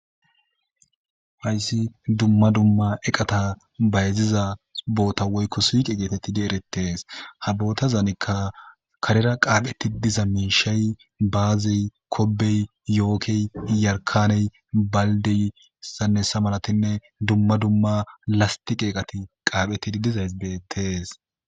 Hayssi dumma dumma eqata bayziza boota woykko siiqe geetettidi erettees ha boota zaanikka karera qaaphetti diza miishay baazey kobey yookey yarkaney baldiysannesa malatinne dumma dumma lasti qeeqati qaapheti dizays bettees.